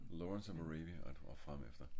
lawrence of arabia og det var fremefter